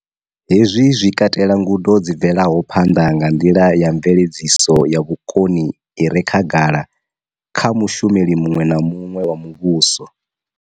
Hezwi zwi katela ngudo dzi bvelaho phanḓa na nḓila ya mveledziso ya vhukoni i re khagala kha mushumeli muṅwe na muṅwe wa muvhuso.